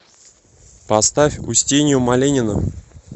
поставь устинью малинину